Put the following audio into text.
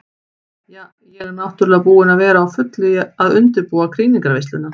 Ja, ég er náttúrulega búin að vera á fullu að undirbúa krýningarveisluna.